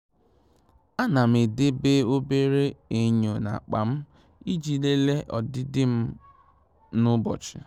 À nà m edèbè obere enyo n’ákpá m iji lelee ọdịdị m m n'ụ́bọ̀chị̀.